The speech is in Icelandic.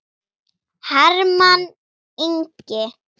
Hermann Ingi.